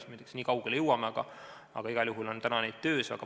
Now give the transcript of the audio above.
Ma ei tea, kas me nii kaugele jõuame, aga igal juhul on neid praegu töös.